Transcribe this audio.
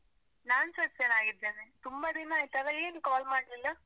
ನಾನ್ಸ ಚೆನ್ನಾಗಿದ್ದೇನೆ. ತುಂಬ ದಿನ ಆಯ್ತಲ್ಲ. ಏನ್ call ಮಾಡ್ಲಿಲ್ಲ?